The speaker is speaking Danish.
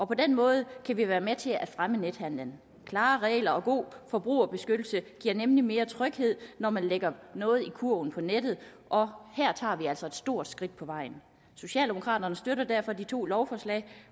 på den måde kan vi være med til at fremme nethandelen klare regler og god forbrugerbeskyttelse giver nemlig mere tryghed når man lægger noget i kurven på nettet og her tager vi altså et stort skridt på vejen socialdemokraterne støtter derfor de to lovforslag